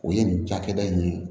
O ye nin cakɛda in ye